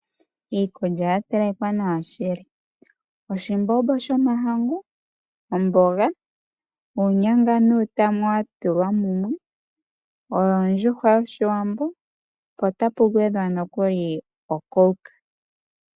Iikulya ya telekwa nawa shili. Oshimbombo shomahangu, omboga, uunyanga nuutama wa tulwa mumwe, ondjuhwa yoshiwambo po otapu gwedhwa nokuli oCoke